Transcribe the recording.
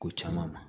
Ko caman na